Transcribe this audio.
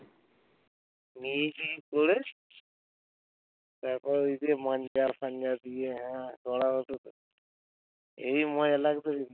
তারপর ওই যে মাঞ্জা তাঞ্জা দিয়ে হেবি মজা লাগতো